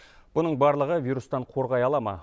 бұның барлығы вирустан қорғай ала ма